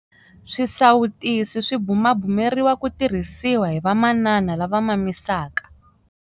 Swisawutisi swi bumabumeriwa ku tirhisiwa hi vamanana lava mamisaka.